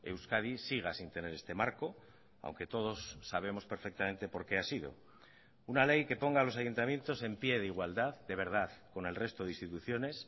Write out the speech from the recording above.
euskadi siga sin tener este marco aunque todos sabemos perfectamente por qué ha sido una ley que ponga a los ayuntamientos en pie de igualdad de verdad con el resto de instituciones